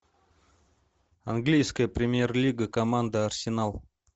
английская премьер лига команда арсенал